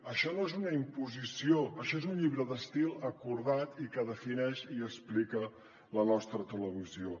això no és una imposició això és un llibre d’estil acordat i que defineix i explica la nostra televisió